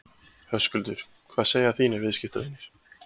Höskuldur: Hvað segja þínir viðskiptavinir?